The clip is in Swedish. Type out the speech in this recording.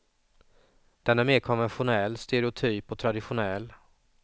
Den är mer konventionell, stereotyp och traditionell.